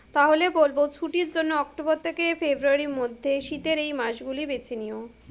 তাহলে বলবো, ছুটির জন্য অক্টোবর থেকে ফেব্রুয়ারীর মধ্যে শীতের এই মাস গুলি বেছে নিও।